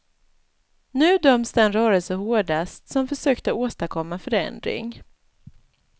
Nu döms den rörelse hårdast som försökte åstadkomma förändring.